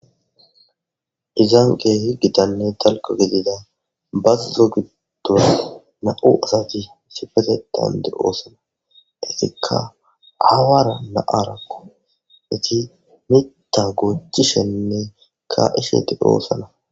izaan qa ha7i gitanne talko gidida bazzo giddo na7u asati sifezedande oosana itikka awaara la7arakko iti mita goochishenne ka7ishe eti doosoana.